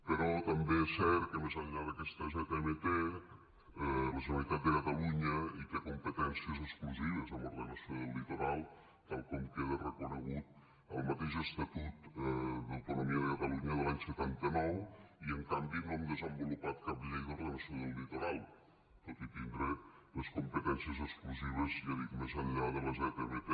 però també és cert que més enllà d’aquesta zmt la generalitat de catalunya hi té competències exclusives en ordenació del litoral tal com queda reconegut en el mateix estatut d’autonomia de catalunya de l’any setanta nou i en canvi no hem desenvolupat cap llei d’ordenació del litoral tot i tindre les competències exclusives ja ho dic més enllà de la zmt